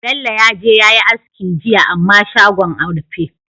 Bello yaje yayi aski jiya amma shagon a rufe